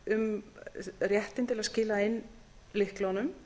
um réttinn til að skila inn lyklunum